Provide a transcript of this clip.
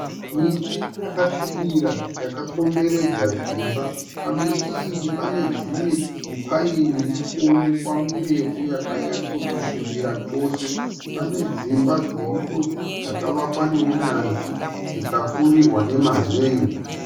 Miti yakasvibira yakakomberedza dzimba. Pamiti iyi pane dzimwe mipaini irikuonekwa mirefu yakanyatsokusvibira chose. Pane dzimba dziripo dzakavakwa neunyanzvi dzikapfurirwa nemazen'e.